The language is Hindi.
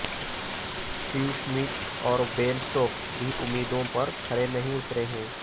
स्टीव स्मिथ और बेन स्टोक्स भी उम्मीदों पर खरे नहीं उतरे हैं